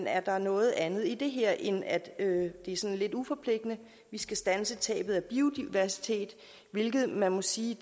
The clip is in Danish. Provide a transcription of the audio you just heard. er noget andet i det her end at det er sådan lidt uforpligtende vi skal standse tabet af biodiversitet hvilket man må sige